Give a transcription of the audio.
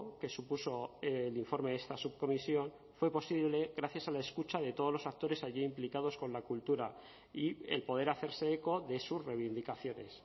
que supuso el informe de esta subcomisión fue posible gracias a la escucha de todos los actores allí implicados con la cultura y el poder hacerse eco de sus reivindicaciones